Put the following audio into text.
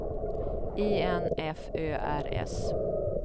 I N F Ö R S